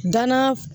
Danna